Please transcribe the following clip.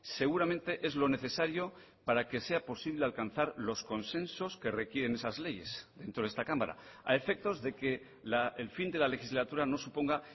seguramente es lo necesario para que sea posible alcanzar los consensos que requieren esas leyes dentro de esta cámara a efectos de que el fin de la legislatura no suponga